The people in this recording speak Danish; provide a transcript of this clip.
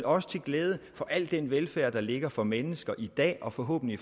også til glæde for al den velfærd der ligger for mennesker i dag og forhåbentlig